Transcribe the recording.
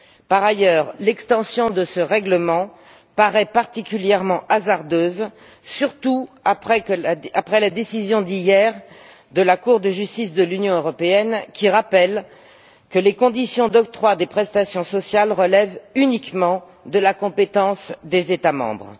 Par ailleurs, l'extension de ce règlement paraît particulièrement hasardeuse, surtout après la décision prise hier par la Cour de justice de l'Union européenne, qui rappelle que les conditions d'octroi des prestations sociales relèvent uniquement de la compétence des États membres.